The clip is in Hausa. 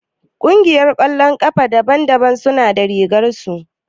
Ƙungiyar ƙwallon ƙafa daban daban suna da rigar su